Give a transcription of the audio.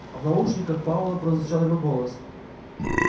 а в наушниках пауэлла прозвучал его голос